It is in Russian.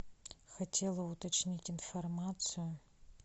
хотела уточнить информацию